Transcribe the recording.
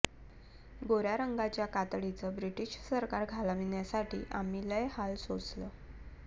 गोऱ्या रंगाच्या कातडीचं ब्रिटिश सरकार घालवण्यासाठी आम्ही लय हाल सोसलं